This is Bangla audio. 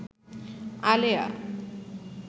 আলেয়া